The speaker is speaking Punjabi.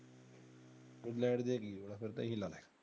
ਖੁਲੇ ਵਰਜੇ ਹੀ ਹ ਫਿਰ ਤਾਂ ਇਹ ਲੈ ਲੈ